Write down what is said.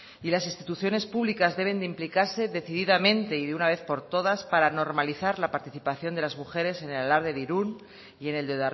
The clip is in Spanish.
y las instituciones públicas deben de implicarse decididamente y de una vez por todas para normalizar la participación de las mujeres en el alarde de irún y en el de